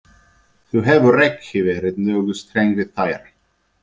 Þú hefur ekki verið nógu ströng við þær.